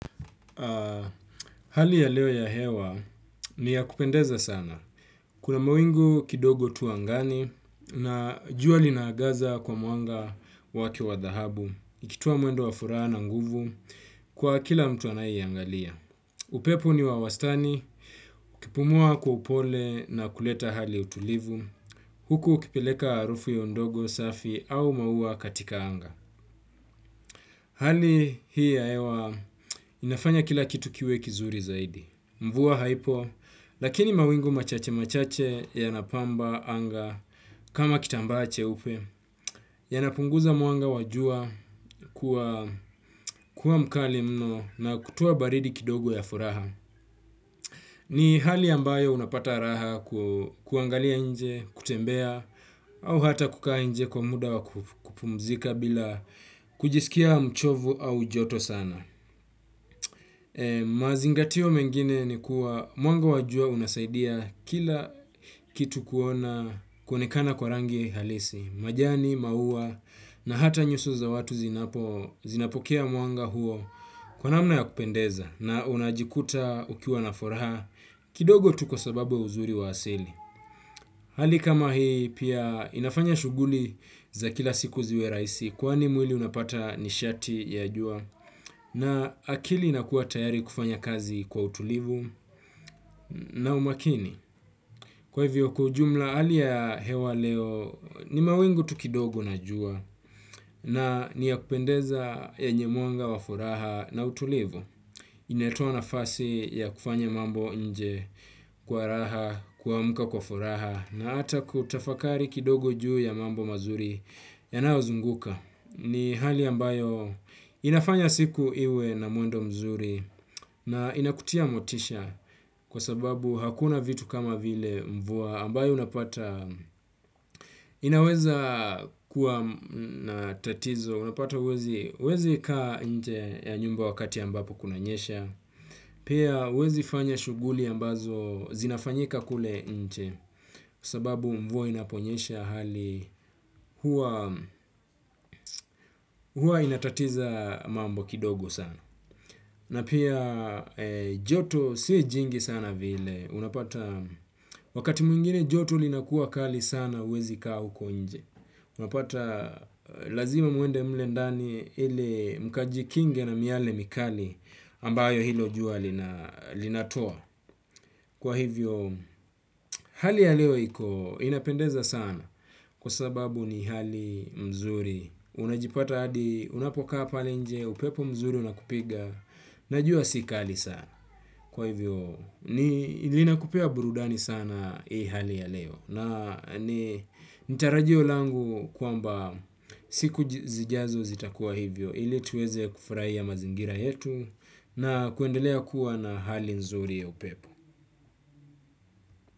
Hali ya leo ya hewa ni ya kupendeza sana. Kuna mawingu kidogo tu angani na juwa linaagaza kwa muanga waki wa dahabu. Nikitua mwendo wa furaha na nguvu kwa kila mtu anai ya angalia. Upepo ni wawastani, ukipumua kwa upole na kuleta hali ya utulivu. Huku ukipileka arufu yondogo safi au mauwa katika hanga. Hali hii ya hewa inafanya kila kitu kiwe kizuri zaidi. Mvuwa haipo, lakini mawingu machache machache ya napamba, anga, kama kitambache upe, ya napunguza mwanga wajua kuwa mkali mno na kutoa baridi kidogo ya furaha. Ni hali ambayo unapata raha kuangalia nje, kutembea, au hata kukaa nje kwa muda wakupumzika bila kujisikia mchovu au joto sana. Mazingatio mengine ni kuwa mwanga wajua unasaidia kila kitu kuona kwenekana kwa rangi halisi, majani, maua na hata nyusu za watu zinapokea mwanga huo kwanamna ya kupendeza na unajikuta ukiwa nafuraha kidogo tu kwa sababu ya uzuri wa asili. Hali kama hii pia inafanya shuguli za kila siku ziwe raisi kwa ni mwili unapata nishati ya jua na akili ina kuwa tayari kufanya kazi kwa utulivu na umakini. Kwa hivyo kwa ujumla hali ya hewa leo ni mawingu tukidogo na jua na ni ya kupendeza yenye mwanga wa furaha na utulivu. Inatoa nafasi ya kufanya mambo nje kwa raha kuamka kwa furaha na hata kutafakari kidogo juu ya mambo mazuri yanayo zunguka ni hali ambayo inafanya siku iwe na mwendo mzuri na inakutia motisha kwa sababu hakuna vitu kama vile mvua ambayo unapata. Inaweza kuwa natatizo, unapata wezi, wezi kaa nje ya nyumba wakati ambapo kunanyesha. Pia wezi fanya shuguli ambazo zinafanyika kule nje. Sababu mvua inaponyesha hali hua, hua inatatiza mambo kidogo sana. Na pia joto si jingi sana vile, unapata wakati mwingine joto linakuwa kali sana wezi kaa huko nje. Unapata lazima muende mule ndani ili mkajikinge na miale mikali ambayo hilo jua linatoa. Kwa hivyo hali ya leo iko inapendeza sana kwasababu ni hali nzuri unajipata hadi unapokaa hapo nje upepo unakupiga na jua si kali sana kwa hivyo ni inakupea burudani sana hii hali ya leo nitarajio langu kwamba siku zijazo zitakuwa hivyo. Ilituweze kufurahia mazingira yetu na kuendelea kuwa na hali nzuri ya upepo.